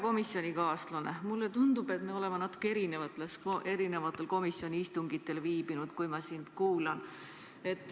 Kui ma sind kuulan, siis mulle tundub, et me oleme natuke erinevatel komisjoni istungitel viibinud.